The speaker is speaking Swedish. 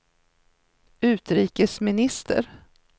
utrikesminister